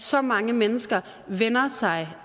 så mange mennesker vender sig